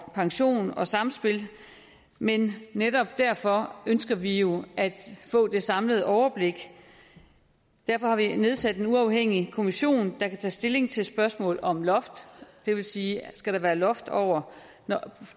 pension og samspillet men netop derfor ønsker vi jo at få det samlede overblik derfor har vi nedsat en uafhængig kommission der kan tage stilling til spørgsmålet om et loft det vil sige om skal være et loft over